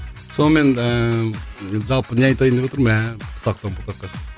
сонымен ыыы жалпы не айтайын деп отырмын мә бұтақтан бұтаққа